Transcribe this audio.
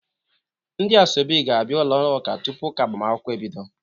Ndị asoebi ga-abia n'ụlọ ụka tupu ụka agbamakwụkwọ ebido.